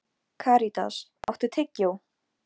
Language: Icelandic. Hann hafði líka mikinn áhuga á að hjálpa mér.